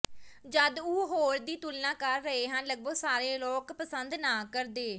ਜਦ ਉਹ ਹੋਰ ਦੀ ਤੁਲਨਾ ਕਰ ਰਹੇ ਹਨ ਲਗਭਗ ਸਾਰੇ ਲੋਕ ਪਸੰਦ ਨਾ ਕਰਦੇ